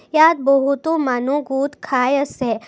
ইয়াত বহুতো মানু্হ গোট খায় আছে।